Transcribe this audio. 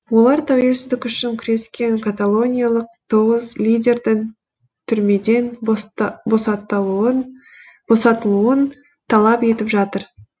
олар тәуелсіздік үшін күрескен каталониялық тоғыз лидердің түрмеден босатылуын талап етіп жатыр